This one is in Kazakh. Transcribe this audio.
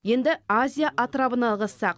енді азия атырабына ығыссақ